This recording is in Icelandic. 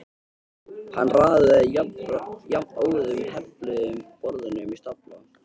Hann raðaði jafnóðum hefluðum borðunum í stafla.